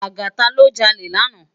Lagata lò jàlé làná